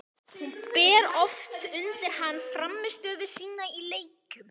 Hún ber oft undir hann frammistöðu sína í leikjum.